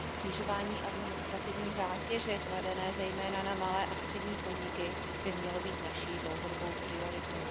Snižování administrativní zátěže kladené zejména na malé a střední podniky by mělo být naší dlouhodobou prioritou.